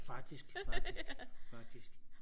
faktisk faktisk faktisk